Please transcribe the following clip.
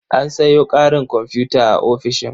An sayo ƙarin komfuta a ofishin.